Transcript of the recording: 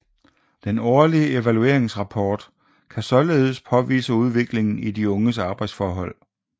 Den årlige evalueringsrapport kan således påvise udviklingen i de unges arbjedsforhold